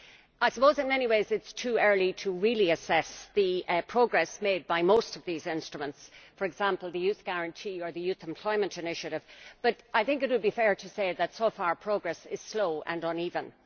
I suppose in many ways it is too early to really assess the progress made by most of these instruments for example the Youth Guarantee or the Youth Employment Initiative but I think it would be fair to say that so far progress is slow and uneven.